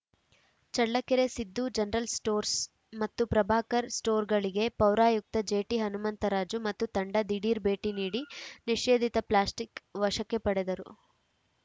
Challakere Siddu general stores ಮತ್ತು ಪ್ರಭಾಕರ್‌ ಸ್ಟೋರ್‌ಗಳಿಗೆ ಪೌರಾಯುಕ್ತ ಜೆಟಿಹನುಮಂತರಾಜು ಮತ್ತು ತಂಡ ದಿಢೀರ್‌ ಭೇಟಿ ನೀಡಿ ನಿಷೇಧಿತ ಪ್ಲಾಸ್ಟಿಕ್‌ ವಶಕ್ಕೆ ಪಡೆದರು